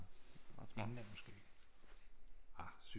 England måske ah